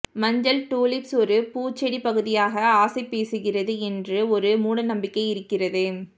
மஞ்சள் டூலிப்ஸ் ஒரு பூச்செடி பகுதியாக ஆசை பேசுகிறது என்று ஒரு மூடநம்பிக்கை இருக்கிறது